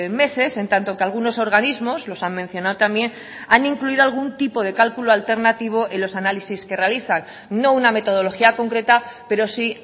meses en tanto que algunos organismos los han mencionado también han incluido algún tipo de cálculo alternativo en los análisis que realizan no una metodología concreta pero sí